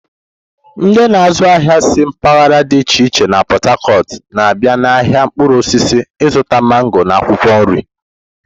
Ndị na-azụ ahịa si mpaghara dị iche iche na Pot-Tacot na-abịa n'ahịa mkpụrụ osisi ịzụta mango na akwụkwọ nri.